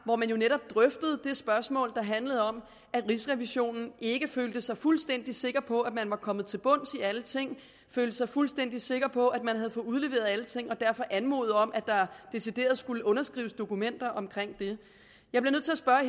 hvor man jo netop drøftede det spørgsmål der handlede om at rigsrevisionen ikke følte sig fuldstændig sikker på at man var kommet til bunds i alle ting følte sig fuldstændig sikker på at man havde fået udleveret alle ting og derfor anmodede om at der decideret skulle underskrives dokumenter om det